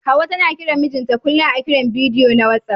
Hauwa tana kiran mijinta kullum a Kiran bidiyo na WhatsApp.